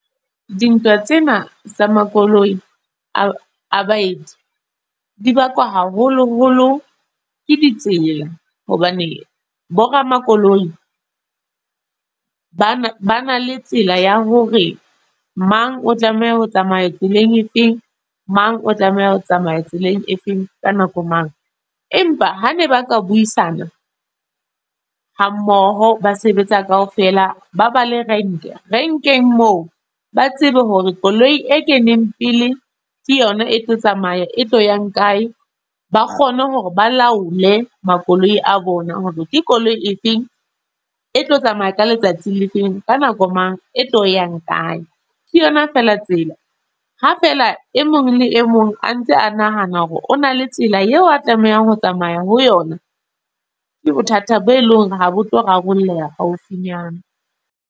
Dintlha tsena tsa makoloi. A a baeti, di bakwa haholo holo ke ditsela. Hobane bo ramakoloi, ba na ba na le tsela ya hore mang o tlameha ho tsamaya tseleng e feng, mang o tlameha ho tsamaya tseleng e feng ka nako mang. Empa ha ne ba ka buisana ha mmoho ba sebetsa kaofela, ba ba le rank. Rank-eng moo, ba tsebe hore koloi e keneng pele, ke yona e tlo tsamaya e tlo yang kae. Ba kgone hore ba laole makoloi a bona. Hore ke koloi e feng e tlo tsamaya ka letsatsi le feng, ka nako mang. E tlo yang kae. Ke yona fela tsela, ha fela e mong le e mong a ntse a nahana hore o na le tsela eo a tlamehang ho tsamaya ho yona. Ke bothata bo e leng hore ha bo tlo rarolleha haufinyana.